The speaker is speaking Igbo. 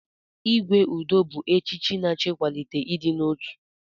Igwe Udo bụ echichi na-achọ ịkwalite ịdị n'otu.